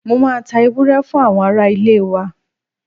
Mo máa ta ewúrẹ́ fún àwọn araá-ilé wa.